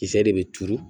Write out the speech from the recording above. Kisɛ de bɛ turu